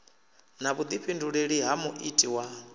na vhuḓifhinduleli ha muiti wa